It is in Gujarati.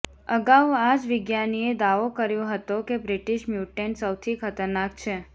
અગાઉ આ જ વિજ્ઞાાનીએ દાવો કર્યો હતો કે બ્રિટિશ મ્યુટેન્ટ સૌથી ખતરનાક છે